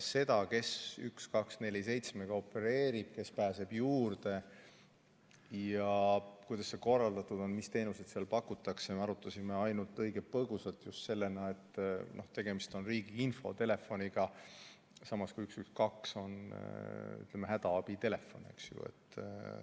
Seda, kes 1247-ga opereerib, kes pääseb juurde, kuidas see korraldatud on ja mis teenuseid seal pakutakse, me arutasime ainult õige põgusalt just selles, et tegemist on riigi infotelefoniga, samas kui 112 on hädaabitelefon, eks ju.